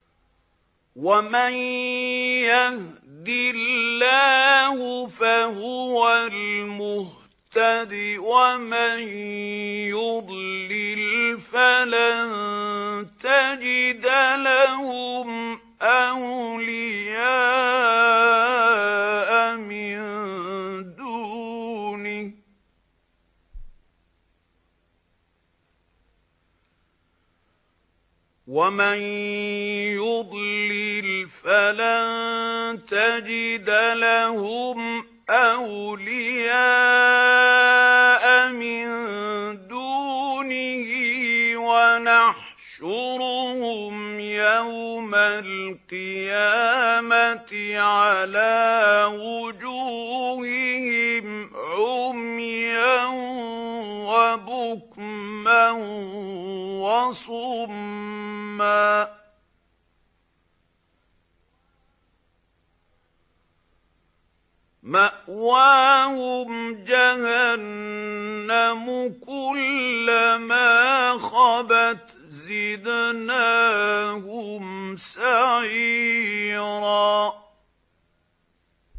وَمَن يَهْدِ اللَّهُ فَهُوَ الْمُهْتَدِ ۖ وَمَن يُضْلِلْ فَلَن تَجِدَ لَهُمْ أَوْلِيَاءَ مِن دُونِهِ ۖ وَنَحْشُرُهُمْ يَوْمَ الْقِيَامَةِ عَلَىٰ وُجُوهِهِمْ عُمْيًا وَبُكْمًا وَصُمًّا ۖ مَّأْوَاهُمْ جَهَنَّمُ ۖ كُلَّمَا خَبَتْ زِدْنَاهُمْ سَعِيرًا